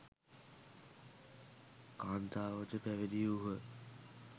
කාන්තාවෝද පැවිදි වූහ.